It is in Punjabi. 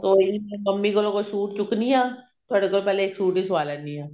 ਕੋਈ ਨੀ ਜੀ ਮੰਮੀ ਕੋਲੋਂ ਕੋਈ ਸੂਟ ਚੁੱਕਦੀ ਹਾਂ ਤੁਹਾਡੇ ਕੋਲੋਂ ਪਹਿਲੇ ਇੱਕ ਸੂਟ ਹੀ ਸਵਾ ਲੈਂਦੀ ਹਾਂ